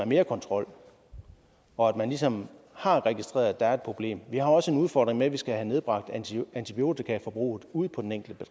mere kontrol og man ligesom har registreret at der er et problem vi har også en udfordring med at vi skal have nedbragt antibiotikaforbruget ude på den enkelte